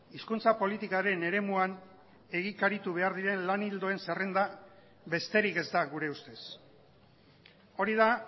hizkuntza politikaren eremuan egikaritu behar diren lan ildoen zerrenda besterik ez da gure ustez hori da